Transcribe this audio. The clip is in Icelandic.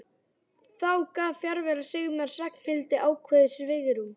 Þá gaf fjarvera Sigmars Ragnhildi ákveðið svigrúm.